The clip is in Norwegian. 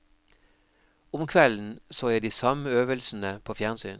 Om kvelden så jeg de samme øvelsene på fjernsyn.